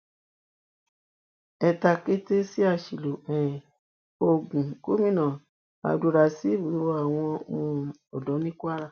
ẹ takété sí àṣìlò um oògùn gomina abdulrazib rọ àwọn um ọdọ ní kwara